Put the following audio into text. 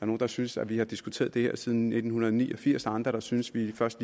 nogle der synes at vi har diskuteret det her siden nitten ni og firs andre der synes vi først